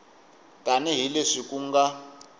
tani hi leswi ku nga